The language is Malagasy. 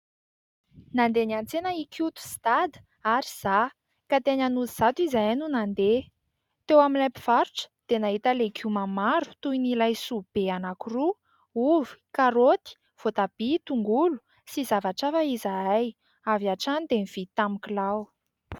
Nandeha niantsena i Koto sy dada ary izaho, ka teny Anosizato izahay no nandeha. Teo amin'ilay mpivarotra dia nahita legioma maro toy ny laisoa be anankiroa, ovy, karoty, voatabia, tongolo sy zavatra hafa izahay. Avy hatrany dia nividy tamin'ny kilao.